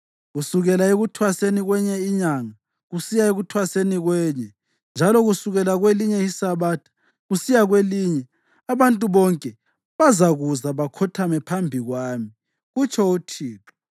Kusukela ekuThwaseni kwenye iNyanga kusiya ekuthwaseni kwenye, njalo kusukela kwelinye iSabatha kusiya kwelinye abantu bonke bazakuza bakhothame phambi kwami,” kutsho uThixo.